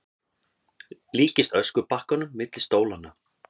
Líkist öskubakkanum milli stólanna.